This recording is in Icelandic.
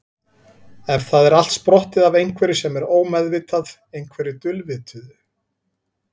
Er það allt sprottið af einhverju sem er ómeðvitað, einhverju dulvituðu?